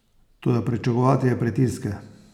Toda pričakovati je pritiske.